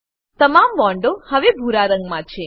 તમામ બોન્ડો હવે ભૂરા રંગમાં છે